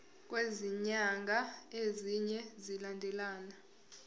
kwezinyanga ezine zilandelana